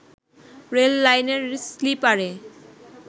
rail লাইনের স্লিপারে